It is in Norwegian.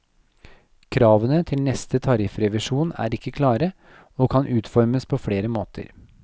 Kravene til neste tariffrevisjon er ikke klare, og kan utformes på flere måter.